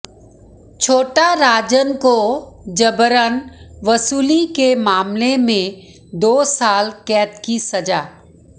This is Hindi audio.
छोटा राजन को जबरन वसूली के मामले में दो साल कैद की सजा